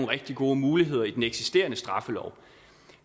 rigtig gode muligheder i den eksisterende straffelov